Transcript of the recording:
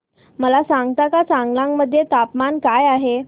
मला सांगता का चांगलांग मध्ये तापमान काय आहे